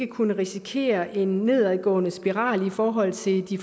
kunne risikere en nedadgående spiral i forhold til de